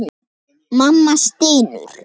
Mamma stynur.